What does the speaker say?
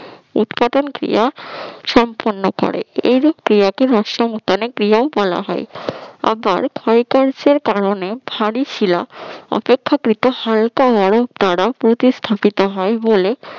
উৎপাদন ক্রিয়া সম্পন্ন করে এই রূপ ক্রিয়াকে আবার ক্ষয় কার্যের কারণে ভারী শিলা অপেক্ষাকৃত যদি হালকা বরফ দ্বারা প্রতিস্থাপিত হয় বলে